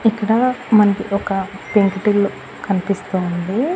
ఇక్కడ మనకి ఒక పెంకుటిల్లు కనిపిస్తూ ఉంది.